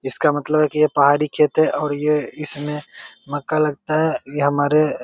इसका मतलब है की ये पहाड़ी खेत है और ये इसमे मक्का लगता है ये हमारे --